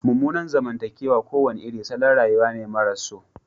Mummunan zamantakewa kowane irin salon rayuwa ne maras so